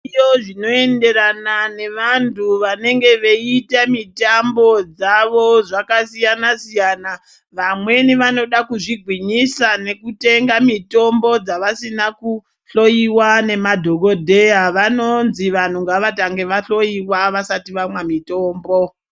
Zviriyo zvinoenderana nevantu vanenge veiita mitambo dzavo zvakasiyana siyana vamweni vanoda kuzvigwinyisa ngekutenga mitombo yavasina kuhloyiwa nemadhokodheya vanonzwi vantu ngavatange vahloyiwa vasati vamwa mitombo.